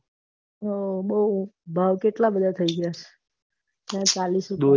હા બૌ ભાવ કેટલા બધા થય ગયા ચાલીસ